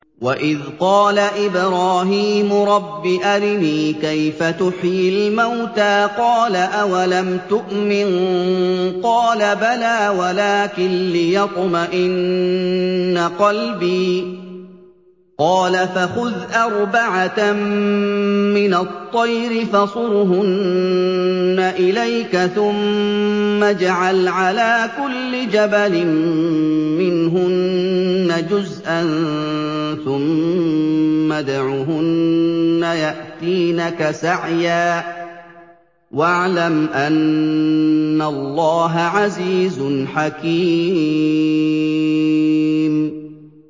وَإِذْ قَالَ إِبْرَاهِيمُ رَبِّ أَرِنِي كَيْفَ تُحْيِي الْمَوْتَىٰ ۖ قَالَ أَوَلَمْ تُؤْمِن ۖ قَالَ بَلَىٰ وَلَٰكِن لِّيَطْمَئِنَّ قَلْبِي ۖ قَالَ فَخُذْ أَرْبَعَةً مِّنَ الطَّيْرِ فَصُرْهُنَّ إِلَيْكَ ثُمَّ اجْعَلْ عَلَىٰ كُلِّ جَبَلٍ مِّنْهُنَّ جُزْءًا ثُمَّ ادْعُهُنَّ يَأْتِينَكَ سَعْيًا ۚ وَاعْلَمْ أَنَّ اللَّهَ عَزِيزٌ حَكِيمٌ